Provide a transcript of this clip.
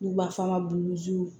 N'u b'a f'a ma